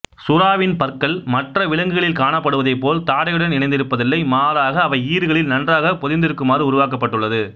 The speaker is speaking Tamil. சுறாவின் பற்கள் மற்ற விலங்குகளில் காணப்படுவதைப்போல தாடையுடன் இணைந்திருப்பதில்லை் மாறாக அவை ஈறுகளில் நன்றாக பொதிந்திருக்குமாறு உருவாக்கப்பட்டுள்ளது